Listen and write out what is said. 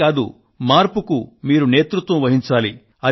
ఇంతే కాదు మార్పునకు మీరు నాయకత్వం వహించాలి